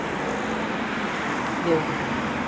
Verðum við ekki að halda þeim dampi áfram?